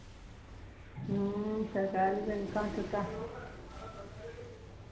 ਹਮ ਸਰਕਾਰੀ ਬੈਂਕਾਂ ਚ ਤਾਂ